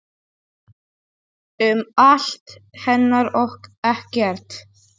Um allt hennar og ekkert.